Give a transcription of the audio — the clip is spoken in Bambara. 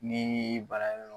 Ni baara yɔrɔ